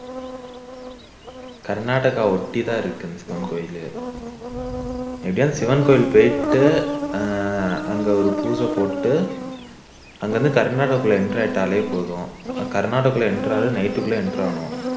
கர்நாடகா ஒட்டி தான் இருக்கு அந்த சிவன் கோவில் எப்படியோ சிவன் கோவில் போயிட்டு ஆஹ் அங்க ஒரு பூசை போட்டுட்டு அங்கிருந்து கர்நாடகாக்குள்ள enter ஆயிட்டாலே போதும் கர்நாடகாக்குள்ள enter ஆகுறது night குள்ள enter ஆகணும்